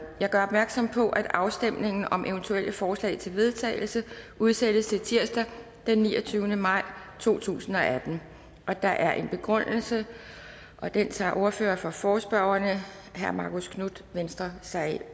jeg gør opmærksom på at afstemning om eventuelle forslag til vedtagelse udsættes til tirsdag den niogtyvende maj to tusind og atten der er en begrundelse og den tager ordføreren for forespørgerne herre marcus knuth venstre sig